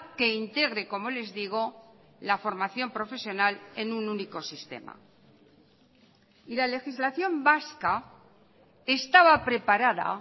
que integre como les digo la formación profesional en un único sistema y la legislación vasca estaba preparada